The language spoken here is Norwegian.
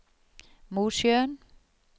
Mosjøen